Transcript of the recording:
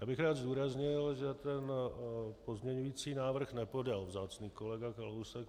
Já bych rád zdůraznil, že ten pozměňovací návrh nepodal vzácný kolega Kalousek.